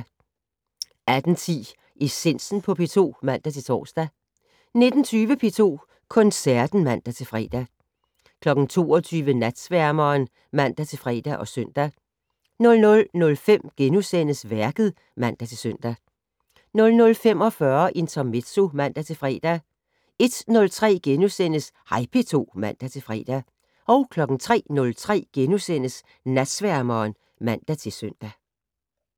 18:10: Essensen på P2 (man-tor) 19:20: P2 Koncerten (man-fre) 22:00: Natsværmeren (man-fre og søn) 00:05: Værket *(man-søn) 00:45: Intermezzo (man-fre) 01:03: Hej P2 *(man-fre) 03:03: Natsværmeren *(man-søn)